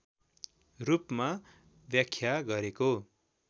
रूपमा व्याख्या गरेको